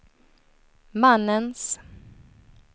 mannens